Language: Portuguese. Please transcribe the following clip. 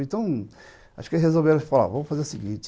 Então, resolveram fazer o seguinte.